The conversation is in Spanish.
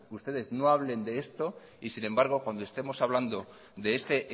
ustedes no hablen de esto y sin embargo cuando estemos hablando de este